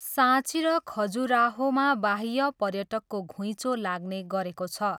साँची र खजुराहोमा बाह्य पर्यटकको घुइँचो लाग्ने गरेको छ।